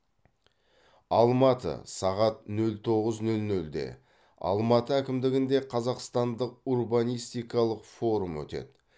алматы сағат нөл тоғыз нөл нөлде алматы әкімдігінде қазақстандық урбанистикалық форум өтеді